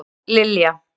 Sóllilja